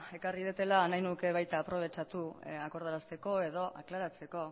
ekarri dudala nahi nuke baita aprobetxatu akordarazteko edo aklaratzeko